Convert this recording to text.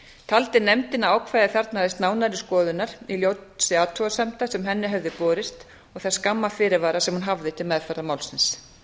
taldi nefndin að ákvæðið þarfnaðist nánari skoðunar í ljósi athugasemda sem henni hefðu borist og þess skamma fyrirvara sem hún hafði til meðferðar málsins